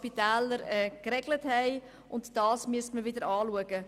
Dies müsste wieder angeschaut werden.